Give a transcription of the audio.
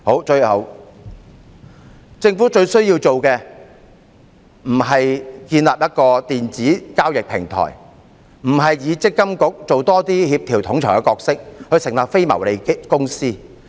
最後，政府最需要做的，不是建立一個電子交易平台，不是要積金局多扮演協調統籌的角色，成立非牟利公司。